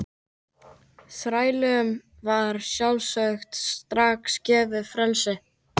Þrælunum var að sjálfsögðu strax gefið frelsi.